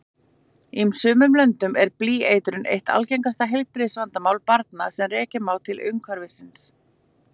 Í sumum löndum er blýeitrun eitt algengasta heilbrigðisvandamál barna sem rekja má til umhverfisins.